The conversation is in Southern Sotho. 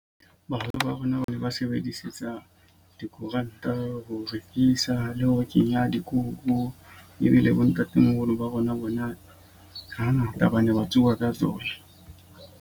Baholo ba rona ba ne ba sebedisetsa dikoranta ho rekisa le ho kenya dikuku. Ebile bo ntatemoholo ba rona bona ha ngata ba ne ba tsuba ka tsona.